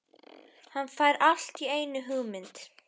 Hann fær allt í einu hugmynd.